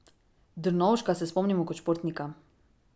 Drnovška se spomnimo kot športnika.